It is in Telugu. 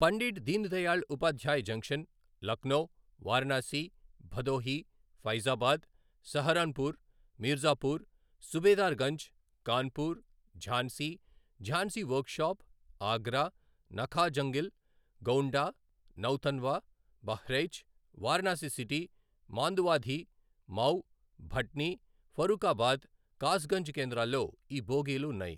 Pandit Deen Dayal Upadhyay junction, Lucknow, Varanasi, Bhadohi, Faizabad, Saharanpur, Mirzapur, Subedarganj, Kanpur, Jhansi, Jhansi workshop, Agra, Nakaha Jungle, Gonda, Nautanwa, Bahraich, Varanasi city, Manduadih, Mau, Bhatni, Farrukhabad, Kasganj కేంద్రాల్లో ఈ బోగీలున్నాయి.